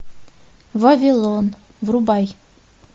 вавилон врубай